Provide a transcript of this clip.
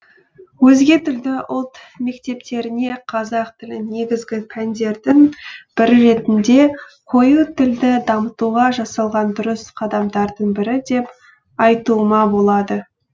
өзге тілді ұлт мектептеріне қазақ тілін негізгі пәндердің бірі ретінде қою тілді дамытуға жасалған дұрыс қадамдардың бірі деп айтуыма болады